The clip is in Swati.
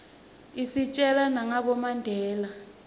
isitjela nagabo mandela